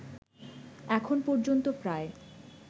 এখন পর্যন্ত প্রায়